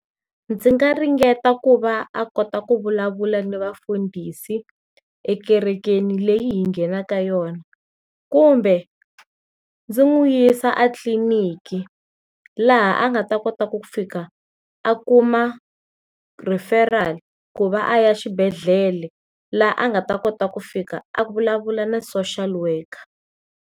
Ndzi nga ringeta ku va a kota ku vulavula ni vafundhisi ekerekeni leyi hi nghenaka yona, kumbe ndzi n'wi yisa eClinic-ki laha a nga ta kota ku fika a kuma referral ku va a ya exibedhlele laha a nga ta kota ku fika a vulavula na social worker.